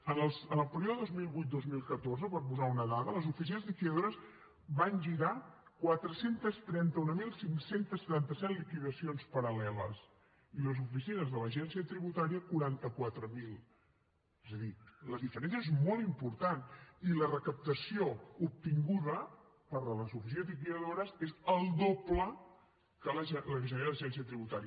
en el període dos mil vuit dos mil catorze per posar una dada les oficines liquidadores van girar quatre cents i trenta mil cinc cents i setanta set liquidacions paral·leles i les oficines de l’agència tributària quaranta quatre mil és a dir la diferència és molt important i la recaptació obtinguda per les oficines liquidadores és el doble que la que genera l’agència tributària